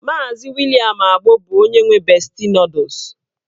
Maazi William Agbo bụ onye nwe besti nọdụs.